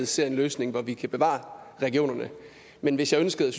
ser en løsning hvor vi kan bevare regionerne men hvis jeg ønskede at